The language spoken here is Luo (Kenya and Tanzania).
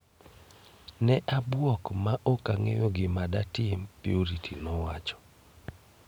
"Ne abwok ma ok ang'eyo gima datim"Purity nowacho.